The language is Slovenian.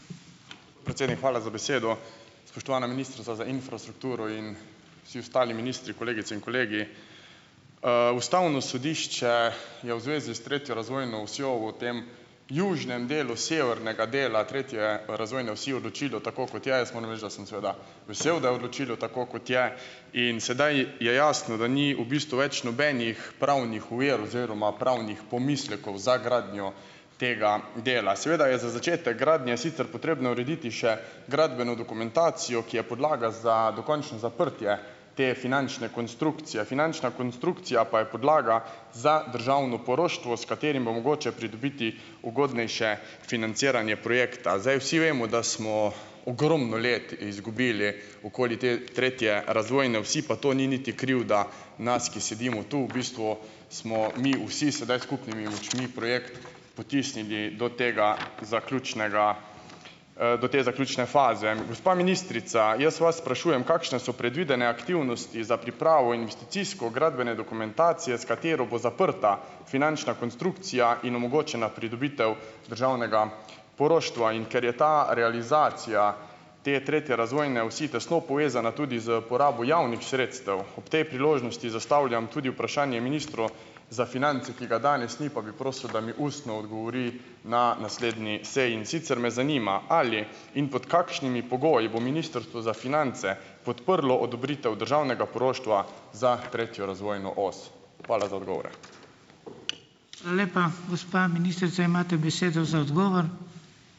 Predsednik, hvala za besedo. Spoštovana ministrica za infrastrukturo in vsi ostali ministri, kolegice in kolegi! Ustavno sodišče je v zvezi s tretjo razvojno osjo v tem južnem delu severnega dela tretje razvojne osi odločilo tako, kot je. Jaz moram reči, da sem seveda vesel, da je odločilo tako, kot je, in sedaj je jasno, da ni v bistvu več nobenih pravnih ovir oziroma pravnih pomislekov za gradnjo tega dela. Seveda je za začetek gradnje sicer potrebno urediti še gradbeno dokumentacijo, ki je podlaga za dokončno zaprtje te finančne konstrukcije. Finančna konstrukcija pa je podlaga za državno poroštvo, s katerim bo mogoče pridobiti ugodnejše financiranje projekta. Zdaj vsi vemo, da smo ogromno let izgubili okoli te tretje razvojne osi, pa to ni niti krivda nas, ki sedimo tu, v bistvu smo mi vsi sedaj s skupnimi močmi projekt potisnili do tega zaključnega, do te zaključne faze. Gospa ministrica, jaz vas sprašujem, kakšne so predvidene aktivnosti za pripravo investicijsko gradbene dokumentacije, s katero bo zaprta finančna konstrukcija in omogočena pridobitev državnega poroštva, in ker je ta realizacija te tretje razvojne osi tesno povezana tudi s porabo javnih sredstev, ob tej priložnosti zastavljam tudi vprašanje ministru za finance, ki ga danes ni, pa bi prosil, da mi ustno odgovori na naslednji seji. In sicer me zanima, ali in pod kakšnimi pogoji bo Ministrstvo za finance podprlo odobritev državnega poroštva za tretjo razvojno os? Hvala za odgovore.